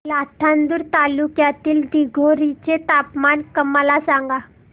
लाखांदूर तालुक्यातील दिघोरी चे तापमान मला सांगा